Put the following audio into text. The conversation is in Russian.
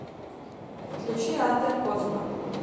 включи адлер коцба